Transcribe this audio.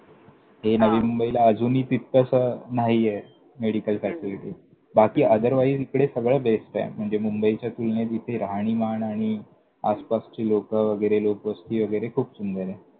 ते हां नवी मुंबईला अजूनही तितकंसं नाहीये. हम्म हम्म! medical facility बाकी otherwise इकडे सगळं बेस्टंय. म्हणजे मुंबईच्या तुलनेत इथे राहणीमान आणि आसपासची लोकं वगैरे लोकवस्ती वगैरे खूप सुंदरे.